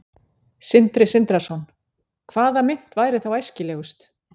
Sindri Sindrason: Hvaða mynt væri þá æskilegust?